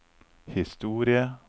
historie